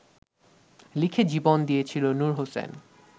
লিখে জীবন দিয়েছিল নূর হোসেন